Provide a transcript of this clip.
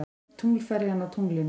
Tunglferjan á tunglinu.